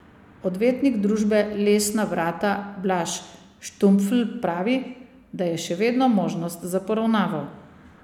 Odvetnik družbe Lesna Vrata Blaž Štumpfl pravi, da je še vedno možnost za poravnavo.